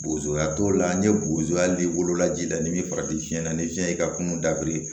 Bozoya t'o la n ye bozo ye hali ni wolola ji la n'i bɛ farafinna ni fiɲɛ y'i ka kungo dabiri